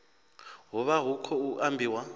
hu vha hu khou ambiwa